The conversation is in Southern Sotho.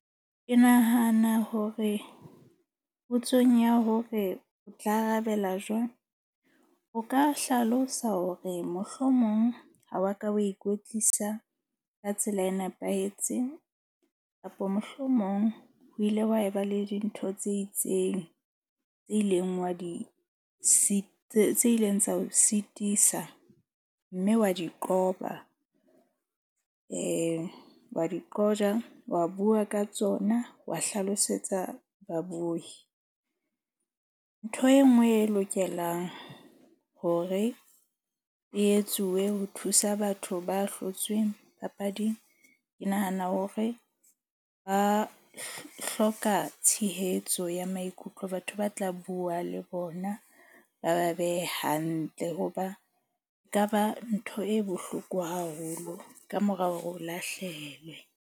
Ke nahana hore potsong ya hore o tla arabela jwang, o ka hlalosa hore mohlomong ha wa ka wa ikwetlisa ka tsela e nepahetseng, kapa mohlomong o ile wa eba le dintho tse itseng tse ileng wa di tse ileng tsa o sitisa, mme wa di qoba, eh, wa di qojwa. Wa bua ka tsona, wa hlalosetsa babohi. Ntho e nngwe e lokelang hore e etsuwe ho thusa batho ba hlotsweng papading. Ke nahana hore ba hloka tshehetso ya maikutlo, batho ba tla bua le bona ba ba behe hantle hoba ekaba ntho e bohloko haholo kamora hore o lahlehelwe.